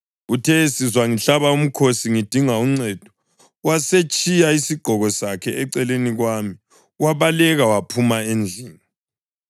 Uthe esizwa ngihlaba umkhosi ngidinga uncedo, wasetshiya isigqoko sakhe eceleni kwami wabaleka waphuma endlini.”